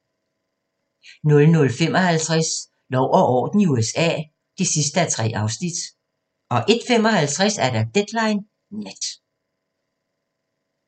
00:55: Lov og orden i USA (3:3) 01:55: Deadline Nat